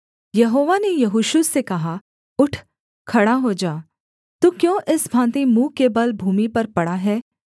यहोवा ने यहोशू से कहा उठ खड़ा हो जा तू क्यों इस भाँति मुँह के बल भूमि पर पड़ा है